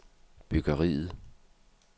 byggeriet